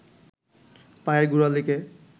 পায়ের গোড়ালিকে